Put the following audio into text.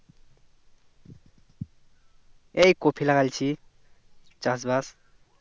এই কপি লাগাচ্ছি চাষ বাস